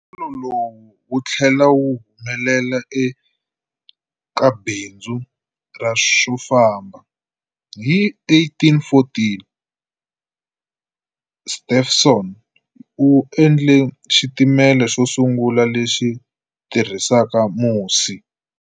Nkutsulo lowu wu tlhele wu humelela eka bindzu ra swo famba. Hi 1814, Stephenson u endle xitimela xo sungula lexi tirhisaka musi.